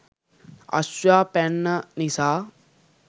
අශ්වයා පැන්න නිසා